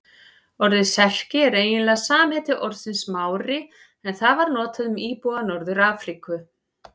Orðið Serki er eiginlega samheiti orðsins Mári en það var notað um íbúa Norður-Afríku.